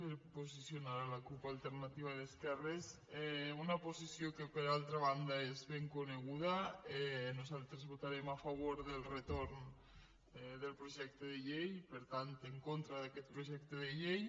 per posicionar la cup alternativa d’esquerres una posició que per altra banda és ben coneguda nosaltres votarem a favor del retorn del projecte de llei per tant en contra d’aquest projecte de llei